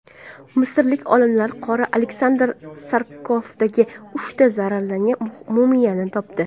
Misrlik olimlar qora Aleksandr sarkofagida uchta zararlangan mumiyani topdi.